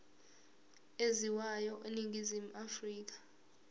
ezaziwayo eningizimu afrika